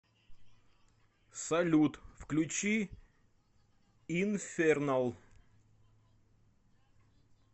салют включи инфернал